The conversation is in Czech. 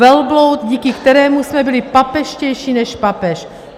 Velbloud, díky kterému jsme byli papežštější než papež.